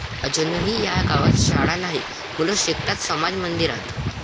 ..अजूनही 'या' गावात शाळा नाही, मुलं शिकतात समाज मंदिरात!